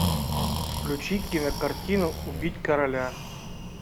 включи кинокартину убить короля